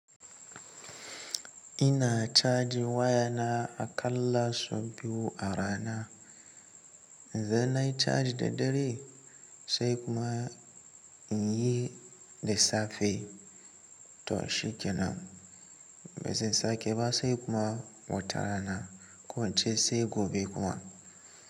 Ina cajin wayana aƙallasu biyu a rana. Idan nay caji da dare sai kuma in yi da safe to shi kenan. Ba zan sake ba sai kuma watara na. Ko ince sai gobe kuma.